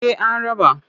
Eh an raba.